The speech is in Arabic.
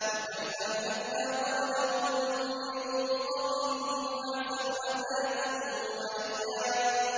وَكَمْ أَهْلَكْنَا قَبْلَهُم مِّن قَرْنٍ هُمْ أَحْسَنُ أَثَاثًا وَرِئْيًا